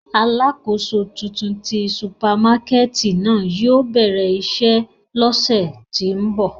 Alakoso tuntun ti supamakẹti náa yóò bẹrẹ iṣẹ lọsẹ ti n bọ.